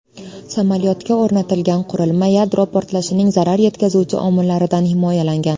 Samolyotga o‘rnatilgan qurilma yadro portlashining zarar yetkazuvchi omillaridan himoyalangan.